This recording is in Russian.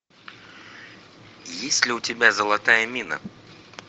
есть ли у тебя золотая мина